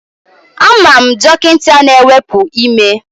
Ama m dọkịta na-ewepu ime